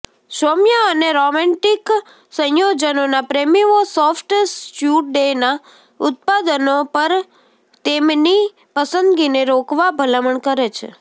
સૌમ્ય અને રોમેન્ટિક સંયોજનોના પ્રેમીઓ સોફ્ટ સ્યુડેના ઉત્પાદનો પર તેમની પસંદગીને રોકવા ભલામણ કરે છે